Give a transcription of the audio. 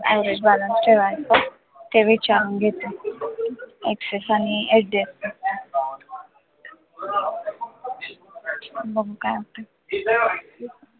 average balance ठेवायचा ते विचारून घेते axis आणि HDFC मध्ये बघू काय होतं.